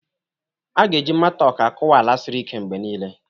A ga-eji matok akụwa ala siri ike mgbe niile.